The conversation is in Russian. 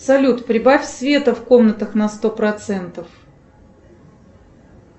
салют прибавь света в комнатах на сто процентов